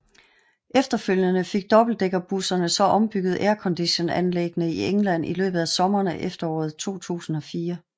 Efterfølgende fik dobbeltdækkerbusserne så ombygget airconditionanlæggene i England i løbet af sommeren og efteråret 2004